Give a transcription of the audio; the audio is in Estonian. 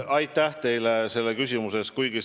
Aitäh teile selle küsimuse eest!